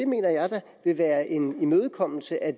mener jeg da vil være en imødekommelse af